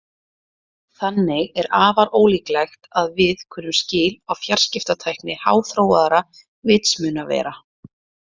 Þannig er afar ólíklegt að við kunnum skil á fjarskiptatækni háþróaðra vitsmunavera.